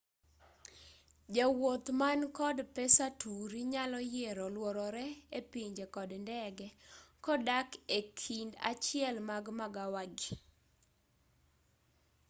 jawuoth man kod pesa turi nyalo yiero luororee epinje kod ndege kodak ekind achiel mag magawagii